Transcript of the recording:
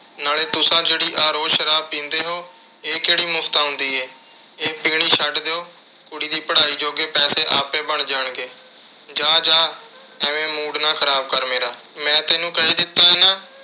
ਨਾਲੇ ਤੁਸਾਂ ਜਿਹੜੀ ਆਹ ਰੋਜ਼੍ਹ ਸ਼ਰਾਬ ਪੀਂਦੇ ਹੋ। ਇਹ ਕਿਹੜੀ ਮੁਫ਼ਤ ਆਉਂਦੀ ਏ। ਇਹ ਪੀਣੀ ਛੱਡ ਦਿਉ। ਕੁੜੀ ਦੀ ਪੜ੍ਹਾਈ ਜੋਗੇ ਪੈਸੇ ਆਪੇ ਬਣ ਜਾਣਗੇ। ਜਾਹ ਜਾਹ ਐਵੇਂ mood ਨਾ ਖਰਾਬ ਕਰ ਮੇਰਾ, ਮੈਂ ਤੈਨੂੰ ਕਹਿ ਦਿੱਤਾ ਨਾ ਅਹ